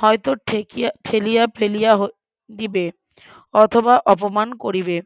হয়ত ঠেকিয়া ঠেলিয়া ফেলিয়া দিবে অথবা অপমান করিবে